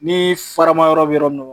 Ni farama yɔrɔ bi yɔrɔ min na